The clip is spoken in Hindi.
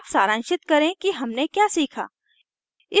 अब सारांशित करें कि हमने क्या सीखा